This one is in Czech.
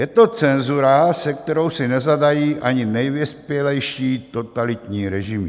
Je to cenzura, se kterou si nezadají ani nejvyspělejší totalitní režimy.